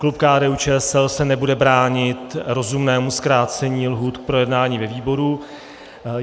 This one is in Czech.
Klub KDU-ČSL se nebude bránit rozumnému zkrácení lhůt pro jednání ve výboru.